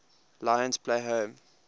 lions play home